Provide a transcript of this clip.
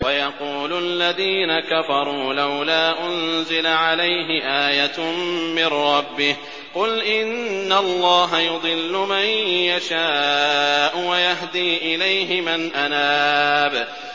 وَيَقُولُ الَّذِينَ كَفَرُوا لَوْلَا أُنزِلَ عَلَيْهِ آيَةٌ مِّن رَّبِّهِ ۗ قُلْ إِنَّ اللَّهَ يُضِلُّ مَن يَشَاءُ وَيَهْدِي إِلَيْهِ مَنْ أَنَابَ